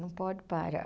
Não pode parar.